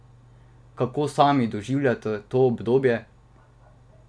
Kako sami doživljate to obdobje?